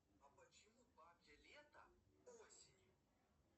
а почему бабье лето осенью